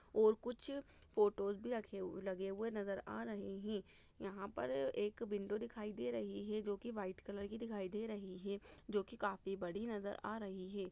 -- और कुछ फोटोस भी रखें हुए लगे हुए नजर आ रहे हैं यहाँ पर एक विंडो दिखाई दे रही हैं जो की वाइट कलर की दिखाई दे रही हैं जो की काफी बड़ी नजर आ रही हैं।